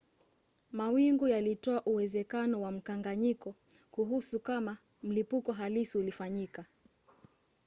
mawingu yalitoa uwezekano wa mkanganyiko kuhusu kama mlipuko halisi ulifanyika